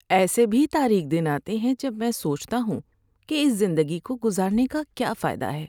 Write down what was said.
ایسے بھی تاریک دن آتے ہیں جب میں سوچتا ہوں کہ اس زندگی کو گزارنے کا کیا فائدہ ہے؟